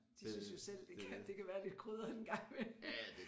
De synes jo selv det kan det kan være lidt krydret en gang imellem